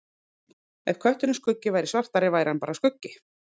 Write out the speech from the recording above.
Ef kötturinn Skuggi væri svartari væri hann bara skuggi.